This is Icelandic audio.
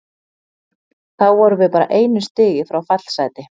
Þá vorum við bara einu stigi frá fallsæti.